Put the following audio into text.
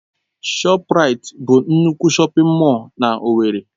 ShọpRait bụ nnukwu shọpin mọll na owerri.